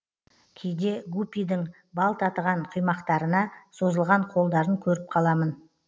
кейде гупидің бал татыған құймақтарына созылған қолдарын көріп қаламын